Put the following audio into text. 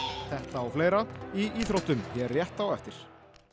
þetta og fleira í íþróttum hér rétt á eftir